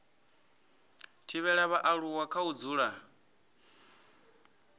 thivhela vhaaluwa kha u dzula